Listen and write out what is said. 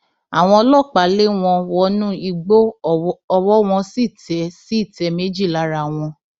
àwọn ọlọpàá lé wọn wọnú igbó ọwọ wọn sì tẹ sì tẹ méjì lára wọn